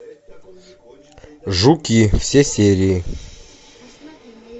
жуки все серии